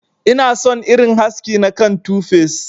Ina son irin haski na kan 2face.